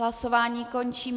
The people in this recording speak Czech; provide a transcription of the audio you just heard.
Hlasování končím.